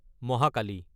Mahakali